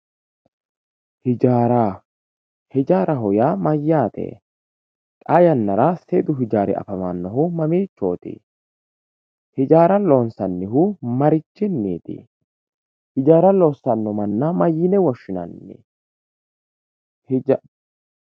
ijaara ijaaraho yaa mayaate xaa yannara seedu ijaari afamannohu mamiichooti ijaara lonsannihu marichiniiti ijaara loosanno manna mayiine woshshinanni